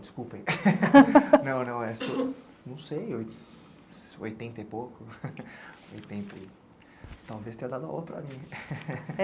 Desculpem, não, não, não sei, oitenta e pouco, talvez tenha dado a hora para mim.